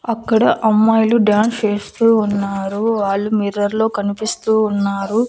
అక్కడ అమ్మాయిలు డాన్స్ వేస్తూ ఉన్నారు వాళ్ళు మిర్రర్ లో కనిపిస్తూ ఉన్నారు.